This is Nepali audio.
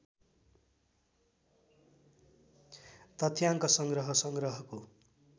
तथ्याङ्क संग्रह संग्रहको